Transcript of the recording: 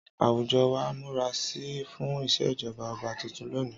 Àwùjọ wa ń múra sílẹ̀ fún ìṣèjọba ọba tuntun lónìí.